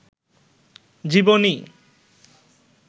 জীবনী